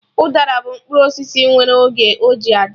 Udara bụ mkpụrụ osisi nwere oge ọ ji adị